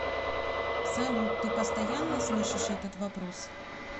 салют ты постоянно слышишь этот вопрос